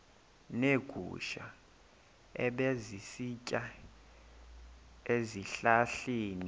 neegusha ebezisitya ezihlahleni